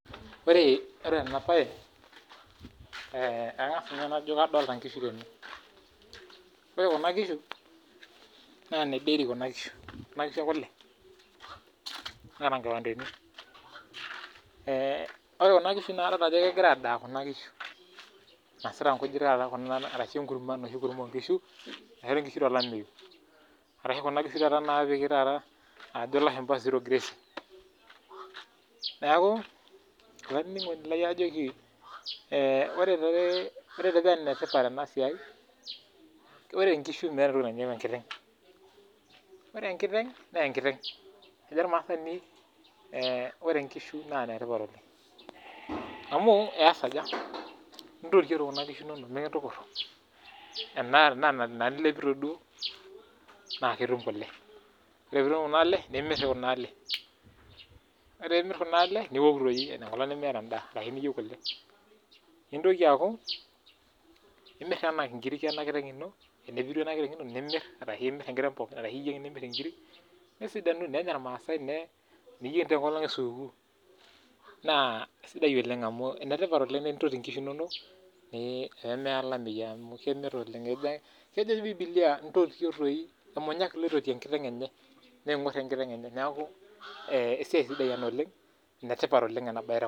Ore ore ena bae kangas ninye najo nadolita nkishu tene naa nedary kuna kishu. Kuna kishu ekule. Neeta nkipandeni. Ore kuna kishu nadolita ajo kegira aadaa enisita nkujit arashuu enkurma enoshi taata oonkishu naishori oshi nkishu tolameyou asho kuna kishu ake taata naajo ilashumba zero grazing . Neaku olaininingoni lai aajoki ore enetipat tena siai, ore nkishu meeta entoki nainepu enkiteng. Ore enkiteng naa enkiteng. Kejo ormaasani ore nkishu naa enetipat oleng. Amuu eas aja, intotio doi kuna kishu inonok, mikintukuru, tenaa nena nilepito duo naa nitum kule. Ore peyie itum nina lee nimir kuna lee. Ore peyie imirr kuna lee niwok doi enkolong nimiata endaa asho teniyieu. Nintoki aaku imir taakenkiri enakiteng ino, tenepiru enakiteng nimir, arashu iyieng nimirr inkiri nesidanu nenya irmaasai, neyieng taa enkolong e supukuu naa enetipat tenintoti inkishu inonok peyie meya olameyu amuu kejo dii bibilia intotio toi, emunyak ilo oingor enkiteng enye niaku esiai sidai ena oleng, enetipat ena oleng tenkop ang